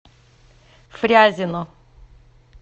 фрязино